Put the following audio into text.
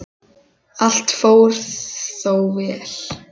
Allt fór þó vel.